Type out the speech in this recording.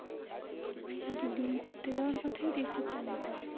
দুদিন ঘুরতে যাওয়ার কথাই দেবজিৎ জানে তো